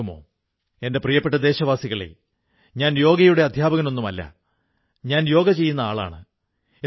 രാജ്യവും എല്ലാ പ്രാവശ്യവും ഈ കുതന്ത്രങ്ങൾക്ക് മുഖമടച്ച് മറുപടി കൊടുത്തിട്ടുണ്ട്